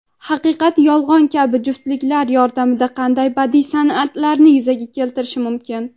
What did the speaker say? "haqiqat-yolg‘on" kabi juftliklar yordamida qanday badiiy san’atlarni yuzaga keltirish mumkin?.